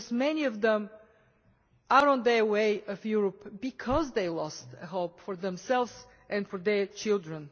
Many of them are on their way to Europe because they lost hope for themselves and for their children.